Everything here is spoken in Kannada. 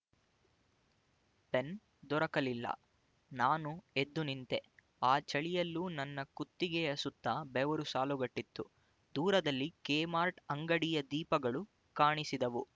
ಪೆನ್ ದೊರಕಲಿಲ್ಲ ನಾನು ಎದ್ದು ನಿಂತೆ ಆ ಚಳಿಯಲ್ಲೂ ನನ್ನ ಕುತ್ತಿಗೆಯ ಸುತ್ತ ಬೆವರು ಸಾಲುಗಟ್ಟಿತ್ತು ದೂರದಲ್ಲಿ ಕೆಮಾರ್ಟ್ ಅಂಗಡಿಯ ದೀಪಗಳು ಕಾಣಿಸಿದವು